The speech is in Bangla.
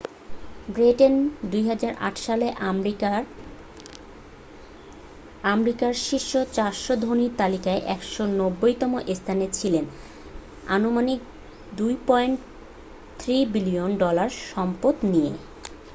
ব্যাটেন 2008 সালে আমেরিকার শীর্ষ 400 ধনীর তালিকায় 190তম স্থানে ছিলেন আনুমানিক 2.3 বিলিয়ন ডলায় সম্পদ নিয়ে